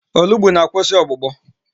Olugbu na-akwụsị ọgbụgbọ.